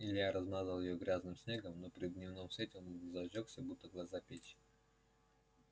илья размазал её грязным снегом но при дневном свете она зажжётся будет глаза печь